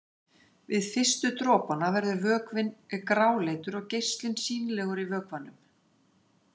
Við fyrstu dropana verður vökvinn gráleitur og geislinn sýnilegur í vökvanum.